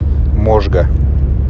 можга